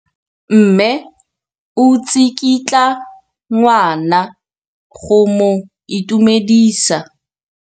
Mme o tsikitla ngwana go mo itumedisa.